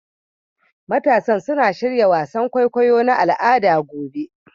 Matasan suna shirya wasan kwaikwayo na al'ada gobe